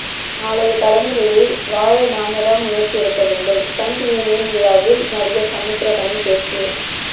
நாளைய தலைமுறை வாழ நாம தான் முயற்சி எடுக்க வேண்டும் ஸ்டன்ட் யூனியன் விழாவில் நடிகர் சமுத்திரகனி பேச்சு